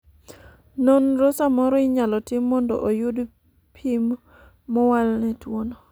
nonro samoro inyalo tim mondo oyud pim mowal ne tuo'no